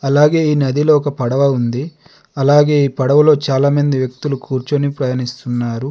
అలాగే ఈ నదిలో ఒక పడవ ఉంది. అలాగే ఈ పడవలో చాలామంది వ్యక్తులు కూర్చొని ప్రయాణిస్తున్నారు.